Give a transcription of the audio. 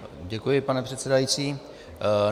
Děkuji, pane předsedající.